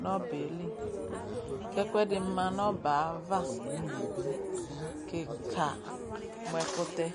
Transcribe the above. nʋ ɔbɛ yɛ li, kʋ ɛkʋɛdɩ ma nʋ ɔbɛ yɛ ava kɩka mʋ ɛkʋtɛ